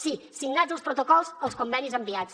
sí signats els protocols els convenis enviats